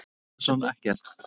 Arnór Atlason ekkert.